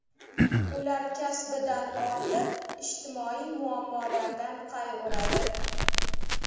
Ular kasbidan ortib, ijtimoiy muammolardan qayg‘uradi.